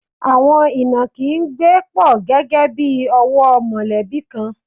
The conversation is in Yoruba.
Àwọn ìnàkí ń gbé pọ̀ gẹ́gẹ́ bí ọ̀wọ́ mọ̀lẹ́bí kan.